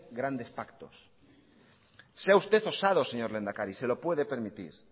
grandes pactos sea usted osado señor lehendakari se lo puede permitir